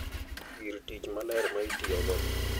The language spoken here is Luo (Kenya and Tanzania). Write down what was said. Gir tich maler ma itiyogo,